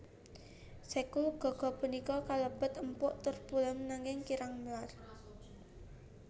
Sekul gaga punika kalebet empuk tur pulen nanging kirang melar